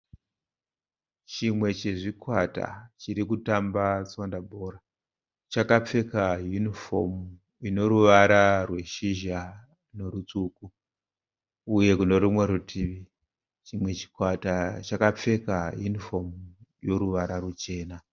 Chimwe chezvikwata chiri kutamba tswanda bhora. Chakapfeka yunifomu ine ruvara rweshizha nerutsvuku uye kune rumwe rutivi chimwe chikwata chakapfeka yunifomu yoruvara ruchena.